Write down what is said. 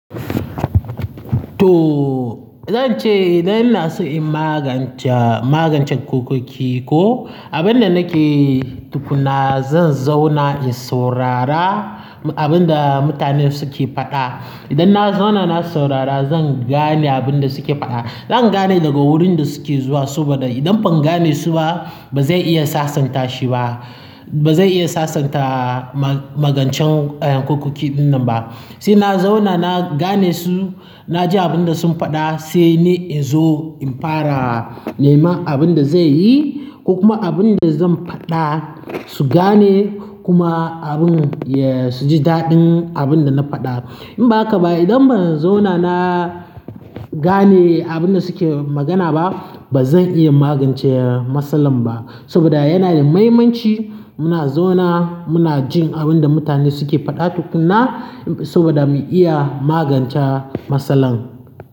To, zan ce idan ina son in magance, magancen kurkuki ko abin da nake yi tukuna, zan zauna in saurara abin da mutane suke faɗa. Idan na zauna na saurara, zan gane abin da suke faɗa. Zan gane daga wurin da suke zuwa, saboda idan ban gane su ba, ba zai iya sasanta shi ba. Ba zai iya sasanta ma-magancen kurkuki dinnan ba. Sai na zauna na gane su, na ji abin da sun faɗa, sai ni in zo in fara nema abin da zai yi ko kuma abin da zan faɗa su gane kuma abin, ya, su ji daɗin abin da na faɗa. In ba haka ba, idan ba zan zauna na gane abin da suke magana ba, ba zan iya magance matsalan ba. Saboda yana da muhimmanci muna zauna, muna jin abin da mutane suke faɗa tukuna saboda mu iya magance matsalan.